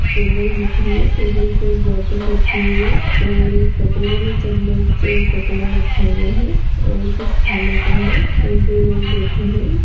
Table दिख रही है टेबल पे बोतल रखी हुई है और एक कटोरे में चम्मच और कटोरा रखा हुआ है और कुछ खाने का है और दो लोग बैठे हैं।